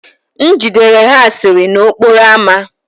M jidere ha asịrị n'okporo ámá